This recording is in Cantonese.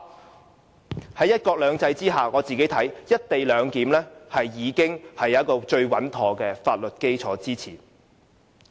就我看來，在"一國兩制"之下，"一地兩檢"已經得到最穩妥的法律基礎支持。